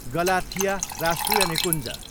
Galathea राष्ट्रिय निकुञ्ज